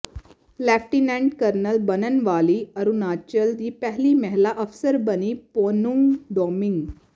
lieutenant colonel ਬਣਨ ਵਾਲੀ ਅਰੁਣਾਚਲ ਦੀ ਪਹਿਲੀ ਮਹਿਲਾ ਅਫ਼ਸਰ ਬਣੀ ਪੋਨੂੰਗ ਡੋਮਿੰਗ